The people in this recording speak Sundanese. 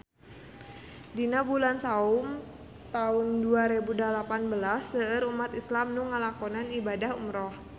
Dina bulan Saum taun dua rebu dalapan belas seueur umat islam nu ngalakonan ibadah umrah